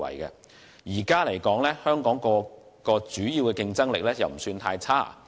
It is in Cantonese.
目前來說，香港各項主要競爭力均不算太差。